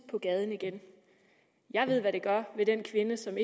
på gaden igen jeg ved hvad det gør ved den kvinde som